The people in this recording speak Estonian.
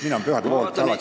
Mina olen pühade poolt alati.